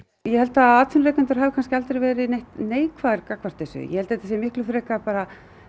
ég held að atvinnurekendur hafi aldrei verið neitt neikvæðir gagnvart þessu ég held að þetta sé miklu frekar bara